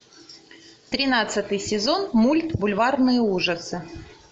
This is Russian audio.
тринадцатый сезон мульт бульварные ужасы